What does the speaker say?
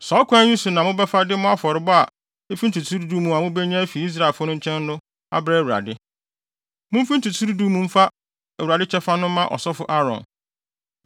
Saa ɔkwan yi so na mobɛfa de mo afɔrebɔ a efi ntotoso du du a mubenya afi Israelfo no nkyɛn no abrɛ Awurade. Mumfi ntotoso du du yi mu mfa Awurade kyɛfa no mma ɔsɔfo Aaron.